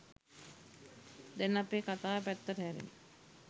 දැන් අපේ කතාව පැත්තට හැරෙමු.